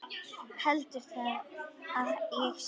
Heldur hann að ég sé.